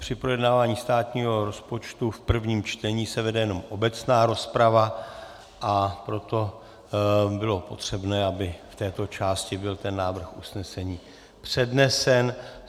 Při projednávání státního rozpočtu v prvním čtení se vede jenom obecná rozprava, a proto bylo potřebné, aby v této části byl ten návrh usnesení přednesen.